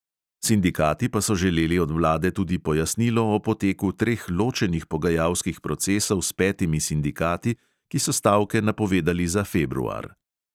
Sindikati pa so želeli od vlade tudi pojasnilo o poteku treh ločenih pogajalskih procesov s petimi sindikati, ki so stavke napovedali za februar.